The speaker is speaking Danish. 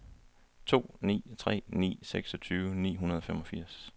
to ni tre ni seksogtyve ni hundrede og femogfirs